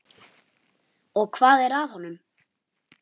Og hvað er að honum?